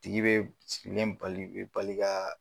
Tigi bɛ sigilen bali bɛ bali ka.